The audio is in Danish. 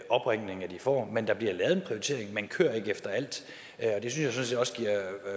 opringninger de får men der bliver lavet en prioritering man kører ikke efter alt